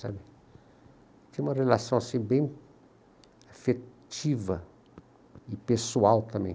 sabe? Tinha uma relação bem afetiva e pessoal também.